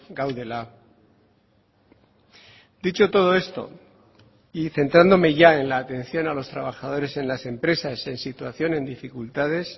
gaudela dicho todo esto y centrándome ya en la atención a los trabajadores en las empresas en situación en dificultades